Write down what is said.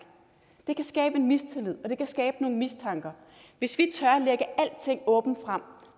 det kan skabe mistillid og det kan skabe mistanker hvis vi tør at lægge alting åbent frem